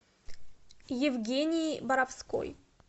евгении боровской